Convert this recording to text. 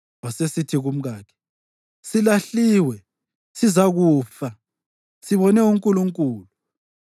Wasesithi kumkakhe, “Silahliwe, sizakufa. Sibone uNkulunkulu!”